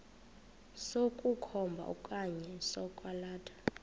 sokukhomba okanye sokwalatha